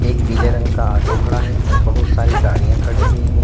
एक पीले रंग का आटो है बहुत सारी गाड़ियां खड़ी हुई।